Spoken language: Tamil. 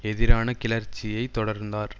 எதிரான கிளர்ச்சியை தொடர்ந்தார்